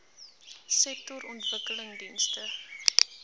sektorontwikkelingdienste